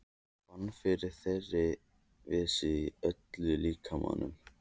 Fann fyrir þeirri vissu í öllum líkamanum.